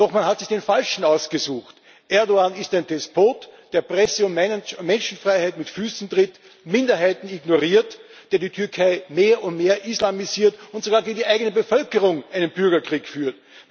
Doch man hat sich den Falschen ausgesucht Erdoğan ist ein Despot, der Presse und Menschenfreiheit mit Füßen tritt, Minderheiten ignoriert, der die Türkei mehr und mehr islamisiert und sogar gegen die eigene Bevölkerung einen Bürgerkrieg führt.